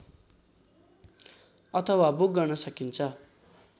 अथवा बुक गर्न सकिन्छ